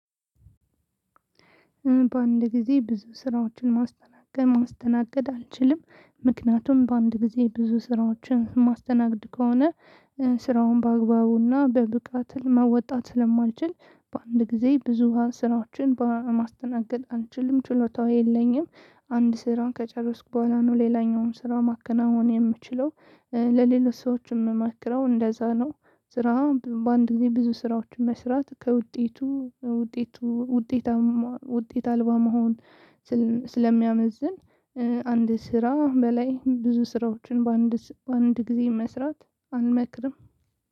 በአንድ ጊዜ ብዙ ስራዎችን ማስተናገድ ማስተናገድ አልችልም። ምክንያቱም በአንድ ጊዜ ብዙ ስራዎችን ማስተናግድ ከሆነ ስራውን በአግባቡና በብቃት መወጣት ስለማልችል በአንድ ጊዜ ብዙሃን ስራዎችን ማስተናገድ አልችልም። ችሎታው የለኝም። አንድ ስራን ከጨረስኩ በኋላ ነው ሌላኛውን ስራ ማከናወን የምችለው። ለሌሎች ሰዎች የምመክረው እንደዛ ነው። ስራ በአንድ ጊዜ ብዙ ስራዎችን መስራት ከውጤቱ ውጤቱ ውጤታማ ውጤት አልባ መሆን ስለ ስለሚያመዝን አንድ ስራ በላይ ብዙ ስራዎችን በአንድ ስ በአንድ ጊዜ መስራት አልመክርም።